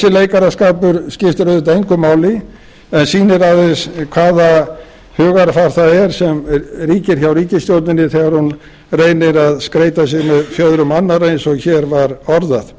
leikaraskapur skiptir auðvitað engu máli en sýnir aðeins hvaða hugarfar það er sem ríkir hjá ríkisstjórninni þegar hún reynir að skreyta sig með fjöðrum annarra eins og hér var orðað